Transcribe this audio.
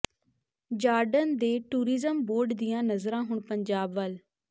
Jordan ਦੇ tourism board ਦੀਆਂ ਨਜ਼ਰਾਂ ਹੁਣ ਪੰਜਾਬ ਵੱਲ